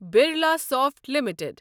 Birlasoft limited